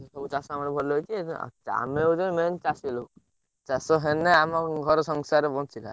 ସବୁ ଚାଷ ଆମର ଭଲ ହେଇଛି। ଆମେ ହଉଛେ main ଚାଷୀ ଲୋକ ଚାଷ ହେଲେ ଆମ ଘର ସଂସାର ବଞ୍ଚିଲା।